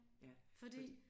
Ja fordi